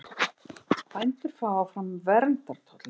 Bændur fái áfram verndartolla